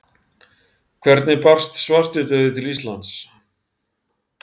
Hvernig barst svartidauði til Íslands?